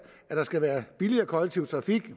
at der skal være en billigere kollektiv trafik